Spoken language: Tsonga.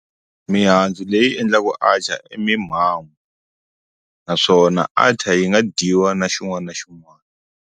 Mihandzu leyi endlaku atchar i naswona atchar yi nga dyiwa na xin'wani na xin'wani.